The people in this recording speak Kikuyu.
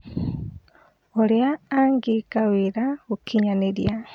ũrĩa angĩka wĩra gũkinyanira